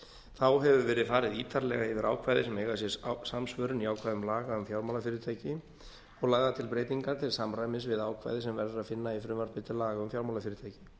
þá hefur verið farið ítarlega yfir ákvæði sem eiga sér samsvörun í ákvæðum laga um fjármálafyrirtæki og lagðar til breytingar til samræmis við ákvæði sem verður að finna í frumvarpi til laga um fjármálafyrirtæki